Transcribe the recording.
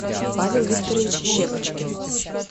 павел викторович щепочкин